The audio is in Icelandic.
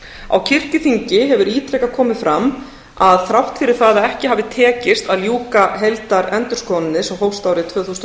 á kirkjuþingi hefur ítrekað komið fram að þrátt fyrir það að ekki hafi tekist að ljúka heildarendurskoðuninni sem hófst árið tvö þúsund og